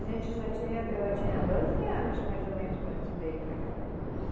A gente já tinha, eu tinha doze anos, mais ou menos, quando a gente veio para cá para Juruti.